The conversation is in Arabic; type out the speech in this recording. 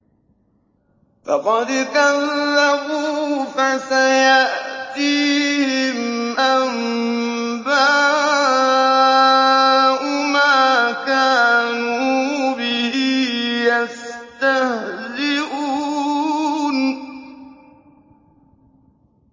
فَقَدْ كَذَّبُوا فَسَيَأْتِيهِمْ أَنبَاءُ مَا كَانُوا بِهِ يَسْتَهْزِئُونَ